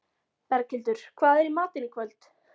Berghildur, hvað er í matinn í kvöld?